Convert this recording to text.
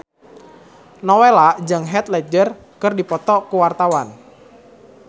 Nowela jeung Heath Ledger keur dipoto ku wartawan